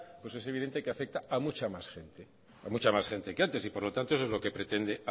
pues es evidente que afecta a mucha más gente a mucha más gente que antes y por lo tanto eso es lo que pretende